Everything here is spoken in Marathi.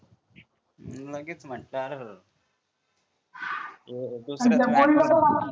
लगेच म्हंटल अर्रर्र